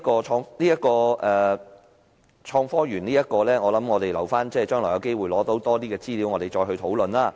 所以，有關創科園，我們還是留待將來獲得更多資料時再作討論。